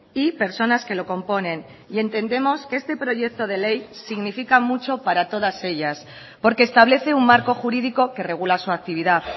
y personas que lo componen y entendemos que este proyecto de ley significa mucho para todas ellas porque establece un marco jurídico que regula su actividad